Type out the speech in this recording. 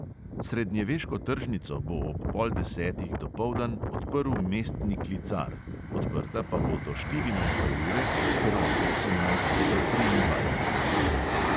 Srednjeveško tržnico bo ob pol desetih dopoldan odprl mestni klicar, odprta pa bo do štirinajste ure ter od osemnajste do triindvajsete ure.